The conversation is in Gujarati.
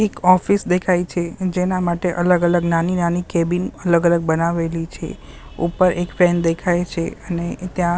એક ઓફિસ દેખાય છે જેના માટે અલગ અલગ નાની નાની કેબીન અલગ અલગ બનાવેલી છે ઉપર એક ફેન દેખાય છે અને ત્યાં--